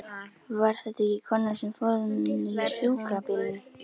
Var þetta ekki konan sem fór inn í sjúkrabílinn?